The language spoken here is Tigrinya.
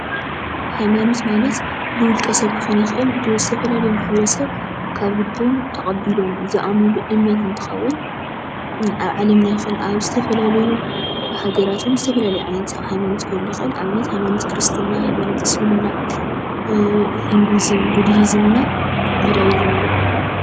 ሃይማኖት ማለት ብውልቀ ስብ ክኮን ይክእል ብዝተፈላለዩ ማሕበረስብ ካብ ልቡ አቀቢሉ ዝአምነሉ እምነት እትኸዉን አብ ዓለምና ይኩን አብ ዝተፈላለየ ሃገራት ዝተፈላለዩ ዓይነት ሃይማኖት ክህሉ ይክእል። ንአብነት ሃይማኖት ክርስትና፣ ሃይማኖት እስልምና፣ ሂነዲዝም፣ ቡደሂዝም ና ጁዳይህዝም እዮም።